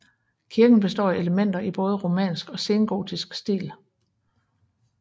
Kirken består af elementer i både romansk og sengotisk stil